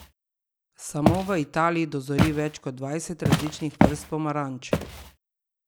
Samo v Italiji dozori več kot dvajset različnih vrst pomaranč.